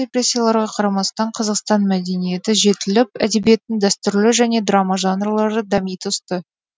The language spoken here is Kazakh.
репрессияларға қарамастан қазақстан мәдениеті жетіліп әдебиеттің дәстүрлі және драма жанрлары дами түсті